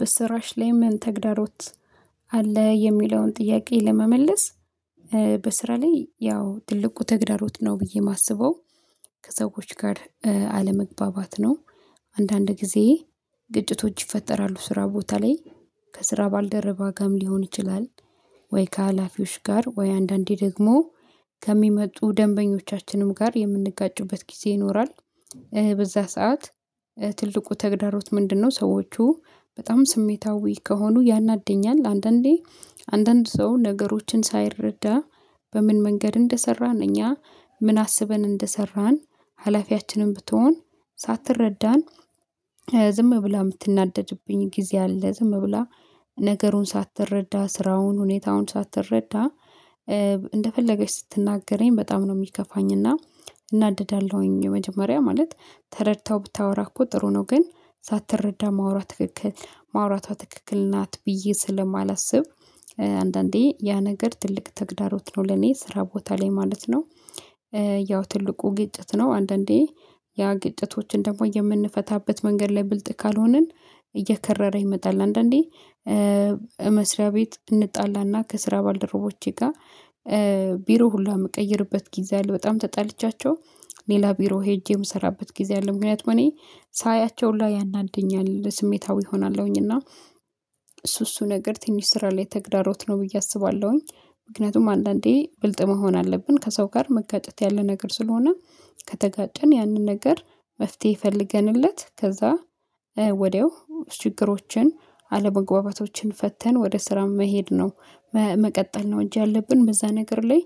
በስራሽ ላይ ምን ተግዳሮት አለ? የሚለውን ጥያቄ ለመመለስ በስራ ላይ ያው ትልቁ ተግዳሮት ነው ብዬ የማስበው ከሰዎች ጋር አለመግባባት ነው። አንዳንድ ጊዜ ግጭቶች ይፈጠራሉ ስራ ቦታ ላይ ከስራ ባልደረባ ጋርም ሊሆን ይችላል። ወይ ከሀላፊዎች ጋር ወይ አንዳንዴ ደግሞ ከሚመጡ ደንበኞቻችንም ጋር የምንጋጭበት ጊዜ ይኖራል። በዛ ሰዓት ትልቁ ተግዳሮት ምንድነው? ሰዎቹ በጣም ስሜታዊ ከሆኑ ያናድድኛል። አንዳንዴ አንዳንድ ሰው ነገሮችን ሳይረዳ በምን መንገድ እንደሰራን እኛ ምን አስበን እንደሰራን ሀላፊያችንም ብትሆን ሳትረዳን ዝም ብላ የምትናደድብኝ ጊዜ አለ። ዝም ብላ ነገሩን ሳትረዳ ስራውን ሁኔታውን ሳትረዳ እንደፈለገች ስትናገረኝ በጣም ነው የሚከፋኝ። እና እናደዳለሁኝ መጀመሪያ ማለት ተረድተው ብታወራ እኮ ጥሩ ነው። ግን ሳትረዳ ማውራት ትክክል ማውራቷ ትክክል ናት። ብዬ ስለማላስብ አንዳንዴ ያ ነገር ትልቅ ተግዳሮት ነው ለኔ ስራ ቦታ ላይ ማለት ነው። ያው ትልቁ ግጭት ነው። አንዳንዴ ያ ግጭቶችን ደግሞ የምንፈታበት መንገድ ላይ ብልጥ ካልሆንን እየከረረ ይመጣል። አንዳንዴ መስሪያ ቤት እንጣላና ከስራ ባልደረቦቼ ጋር ቢሮ ሁሉ የምቀይርበት ጊዜ አለ። በጣም ተጣልቻቸው ሌላ ቢሮ ሄጄ የምሰራበት ጊዜ አለ። ምክንያቱም እኔ ሳያቸው ሁላ ያናድደኛል ስሜታዊ እሆናለሁኝ እና እሱ እሱ ነገር ትንሽ ስራ ላይ ተግዳሮት ነው ብዬ አስባለሁኝ። ምክንያቱም አንዳንዴ ብልጥ መሆን አለብን ከሰው ጋር መጋጨት ያለ ነገር ስለሆነ ከተጋጨን ያንን ነገር መፍትሄ ፈልገንለት ከዛ ወዲያው ችግሮችን አለመግባባቶችን ፈተን ወደ ስራም መሄድ ነው። መቀጠል ነው እንጂ ያለብን በዛ ነገር ላይ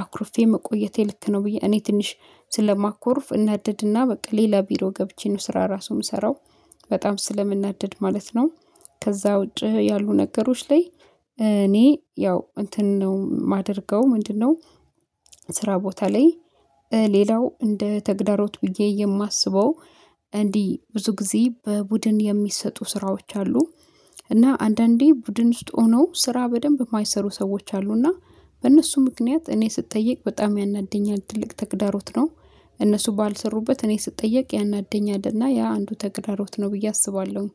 አኩርፌ መቆየቴ ልክ ነው ብዬ እኔ ትንሽ ስለማኮርፍ እናደድና በቃ ሌላ ቢሮ ገብቼ ነው ስራ ራሱ የምሰራው። በጣም ስለምናደድ ማለት ነው። ከዛ ውጪ ያሉ ነገሮች ላይ እኔ ያው እንትን ነው የማደርገው ምንድነው? ስራ ቦታ ላይ ሌላው እንደ ተግዳሮት ብዬ የማስበው እንዲህ ብዙ ጊዜ በቡድን የሚሰጡ ስራዎች አሉ። እና አንዳንዴ ቡድን ውስጥ ሆኖ ስራ በደንብ የማይሰሩ ሰዎች አሉና በእነርሱ ምክንያት እኔ ስጠይቅ በጣም ያናድደኛል ትልቅ ተግዳሮት ነው። እነርሱ ባልሰሩበት እኔ ስጠየቅ ያናደኛልና ያ አንዱ ተግዳሮት ነው። ብዬ አስባለሁ